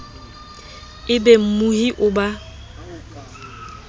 e be mmohi o ba